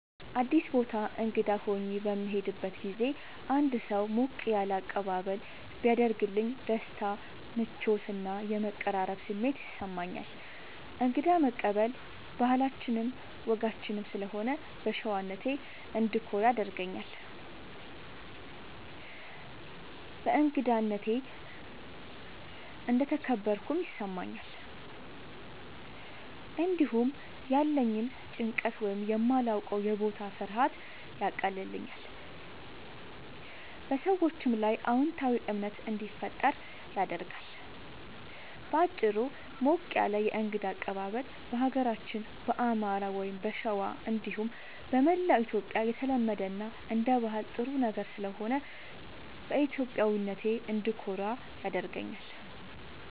አዲስ ቦታ እንግዳ ሆኜ በምሄድበት ጊዜ አንድ ሰው ሞቅ ያለ አቀባበል ቢያደርግልኝ ደስታ፣ ምቾት እና የመቀራረብ ስሜት ይሰማኛል። እንግዳ መቀበል ባህላችንም ወጋችንም ስለሆነ በሸዋነቴ እንድኮራ ያደርገኛል። በእንግዳነቴ እንደተከበርኩም ይሰማኛል። እንዲሁም ያለኝን ጭንቀት ወይም የማላዉቀዉ የቦታ ፍርሃት ያቀልልኛል፣ በሰዎቹም ላይ አዎንታዊ እምነት እንዲፈጠር ያደርጋል። በአጭሩ፣ ሞቅ ያለ የእንግዳ አቀባበል በሀገራችን በአማራ(ሸዋ) እንዲሁም በመላዉ ኢትዮጽያ የተለመደ እና አንደ ባህል ጥሩ ነገር ስለሆነ በኢትዮጵያዊነቴ እንድኮራ ያደርገኛል።